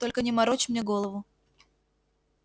только не морочь мне голову